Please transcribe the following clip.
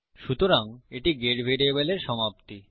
সুতরাং এটি গেট ভ্যারিয়েবলের সমাপ্তি